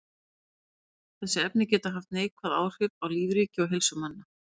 Þessi efni geta haft neikvæð áhrif á lífríki og heilsu manna.